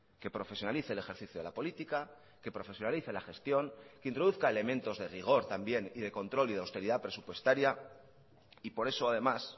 que profesionalice el ejercicio de la política que profesionalice la gestión que introduzca elementos de rigor también y de control y de austeridad presupuestaria y por eso además